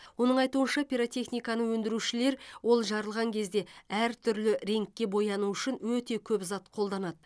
оның айтуынша пиротехниканы өндрушілер ол жарылған кезде әртүрлі реңкке боянуы үшін өте көп зат қолданады